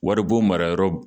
Waribon marayɔrɔ